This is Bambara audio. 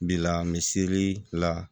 Bila miseli la